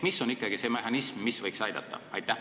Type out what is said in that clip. Mis on ikkagi see mehhanism, mis võiks aidata?